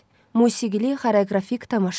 Musiqili xoreoqrafik tamaşa.